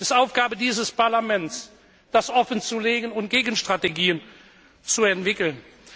Es ist Aufgabe dieses Parlaments, das offenzulegen und Gegenstrategien zu entwickeln.